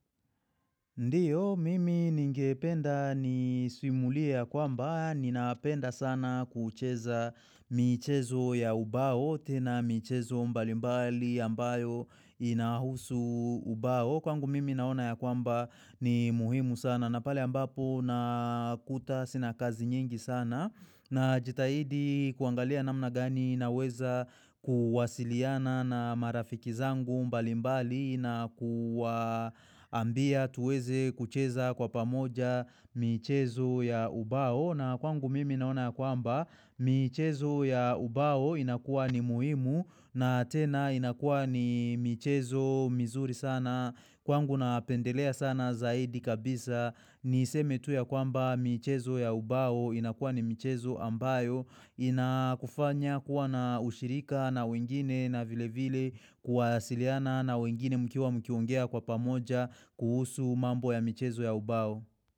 Ndiyo, mimi ningependa ni simulia kwa mbaa, ninaapenda sana kucheza michezo ya ubao tena michezo mbalimbali ambayo inahusu ubao. Kwangu mimi naona ya kwamba ni muhimu sana na pale ambapo nakuta sina kazi nyingi sana. Na jitahidi kuangalia namna gani na weza kuwasiliana na marafiki zangu mbali mbali na kuambia tuweze kucheza kwa pamoja michezo ya ubao. Na kwangu mimi naona kwamba michezo ya ubao inakuwa ni muhimu na tena inakuwa ni michezo mizuri sana. Kwangu napendelea sana zaidi kabisa ni iseme tu ya kwamba michezo ya ubao inakuwa ni michezo ambayo inakufanya kuwa na ushirika na wengine na vile vile kwa siliana na wengine mkiwa mkiongea kwa pamoja kuhusu mambo ya michezo ya ubao.